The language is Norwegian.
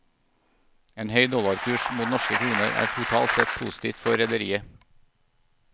En høy dollarkurs mot norske kroner er totalt sett positivt for rederiet.